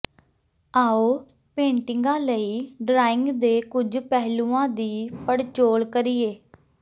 ਆਓ ਪੇਂਟਿੰਗਾਂ ਲਈ ਡਰਾਇੰਗ ਦੇ ਕੁੱਝ ਪਹਿਲੂਆਂ ਦੀ ਪੜਚੋਲ ਕਰੀਏ